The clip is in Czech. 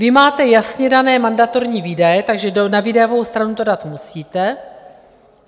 Vy máte jasně dané mandatorní výdaje, takže na výdajovou stranu to dát musíte.